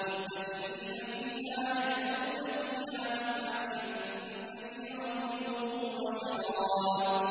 مُتَّكِئِينَ فِيهَا يَدْعُونَ فِيهَا بِفَاكِهَةٍ كَثِيرَةٍ وَشَرَابٍ